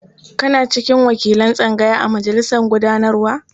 Kana cikin wakilan tsangaya a majalisar gudanarwa?